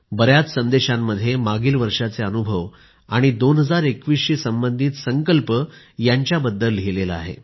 बर्याच संदेशांमध्ये मागील वर्षाचे अनुभव आणि 2021 शी संबंधित संकल्प यांच्या बद्दल लिहिले आहे